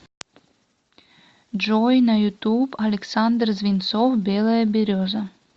джой на ютуб александр звинцов белая береза